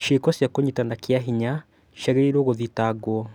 Ciĩko cia kũnyitana kĩa hinya ciagĩrĩirũo gũthitangwo